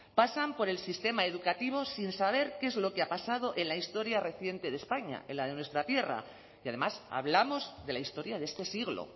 pasan por el sistema educativo sin saber qué es lo que ha pasado en la historia reciente de españa en la de nuestra tierra y además hablamos de la historia de este siglo